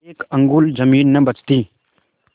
एक अंगुल जमीन न बचती